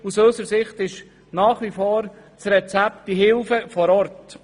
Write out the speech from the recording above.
Aus unserer Sicht ist das Rezept nach wie vor die Hilfe vor Ort.